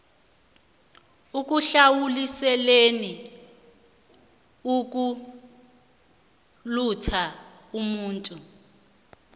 ekuhlawuliseleni ukulutha umuntu